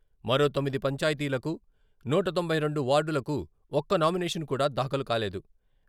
మరో తొమ్మిది పంచాయతీలకు, నూట తొంభై రెండు వార్డులకు ఒక్క నామినేషన్ కూడా దాఖలు కాలేదు.